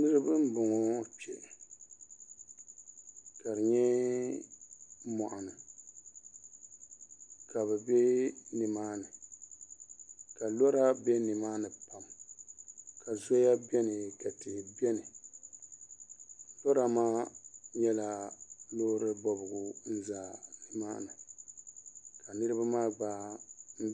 Niraba n boŋo kpɛ ka bi bɛ moɣani ka bi bɛ nimaani ka lora bɛ nimaani ka zoya biɛni ka tihi biɛni lora maa nyɛla loori bobgu n za nimaani ka niraba maa gba